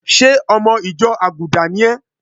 Ṣé ọmọ ìjọ àgùdà ni é?